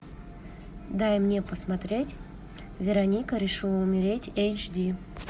дай мне посмотреть вероника решила умереть эйч ди